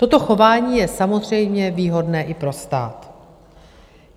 Toto chování je samozřejmě výhodné i pro stát.